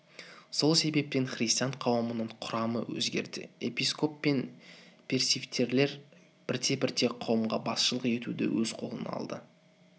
сол себептен христиан қауымының құрамы өзгерді епископ пен пресвитерлер бірте-бірте қауымға басшылық етуді өз қолына алды